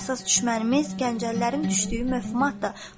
Bizim əsas düşmənimiz Gəncəlilərin düşdüyü məfhumatdır.